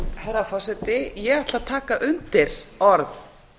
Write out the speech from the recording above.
herra forseti ég tek undir orð